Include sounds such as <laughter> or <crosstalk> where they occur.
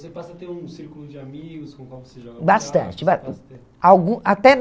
E você passa a ter um círculo de amigos com o qual você joga buraco? <unintelligible> Bastante. Algum até na